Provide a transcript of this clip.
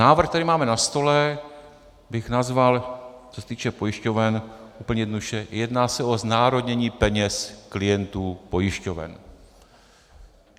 Návrh, který máme na stole, bych nazval, co se týče pojišťoven, úplně jednoduše: jedná se o znárodnění peněz klientů pojišťoven.